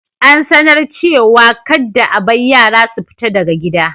An sanar cewa kadda a bar yara su fita daga gida.